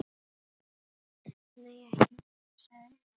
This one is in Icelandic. Nei, ekki mikið, sagði Emil.